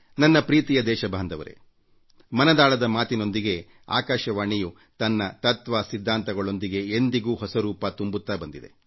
ನನ್ನ ಪ್ರೀತಿಯ ದೇಶವಾಸಿಗಳೇ ಮನ್ ಕಿ ಬಾತ್ ನಲ್ಲಿ ಆಕಾಶವಾಣಿಯು ತನ್ನ ತತ್ವ ಸಿದ್ಧಾಂತಗಳೊಂದಿಗೆ ಸದಾ ಹೊಸ ರೂಪ ತುಂಬುತ್ತಾ ಬಂದಿದೆ